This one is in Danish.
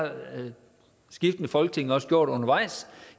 skiftende folketing også gjort undervejs